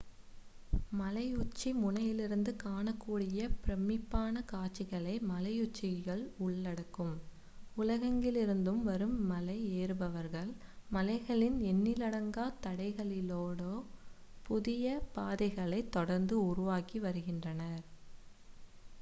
மலையுச்சி முனையிலிருந்து காணக்கூடிய பிரமிப்பான காட்சிகளை மலையுச்சிகள் உள்ளடக்கும் உலகெங்கிலிருந்தும் வரும் மலை ஏறுபவர்கள் மலைகளின் எண்ணிலடங்கா தடைகளினூடே புதிய பாதைகளை தொடர்ந்து உருவாக்கி வருகின்றனர்